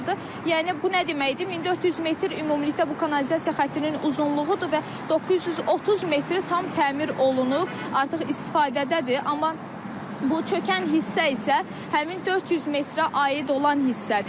Yəni bu nə deməkdir, 1400 metr ümumilikdə bu kanalizasiya xəttinin uzunluğudur və 930 metri tam təmir olunub, artıq istifadədədir, amma bu çökən hissə isə həmin 400 metrə aid olan hissədir.